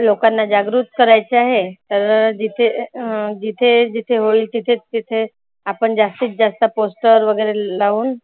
लोकांना जागृत करायचं आहे. तर जिथे अं जिथे जिथे होईल तिथे तिथे आपण जास्तीत जास्त poster वगैरे लावून